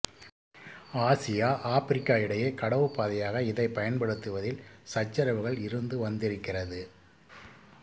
Asia ஆப்பிரிக்கா இடையே கடவுப் பாதையாக இதை பயன்படுத்துவதில் சச்சரவுகள் இருந்து வந்திருக்கிறது